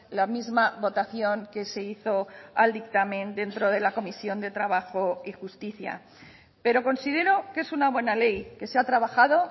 la misma votación que se hizo al dictamen dentro de la comisión de trabajo y justicia pero considero que es una buena ley que se ha trabajado